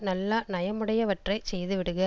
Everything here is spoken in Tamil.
நல்ல நயமுடையவற்றைச் செய்துவிடுக